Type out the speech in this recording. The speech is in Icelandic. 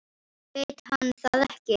Veit hann það ekki?